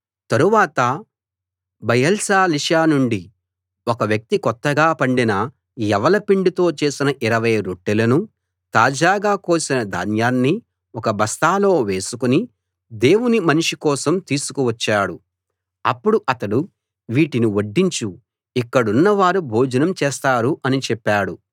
తరువాత బయల్షాలిషా నుండి ఒక వ్యక్తి కొత్తగా పండిన యవల పిండితో చేసిన ఇరవై రొట్టెలనూ తాజాగా కోసిన ధాన్యాన్నీ ఒక బస్తాలో వేసుకుని దేవుని మనిషి కోసం తీసుకు వచ్చాడు అప్పుడు అతడు వీటిని వడ్డించు ఇక్కడున్నవారు భోజనం చేస్తారు అని చెప్పాడు